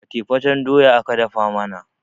fatefaten doya aka dafa mana